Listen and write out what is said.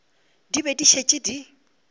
di be di šetše di